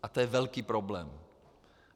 A to je velký problém.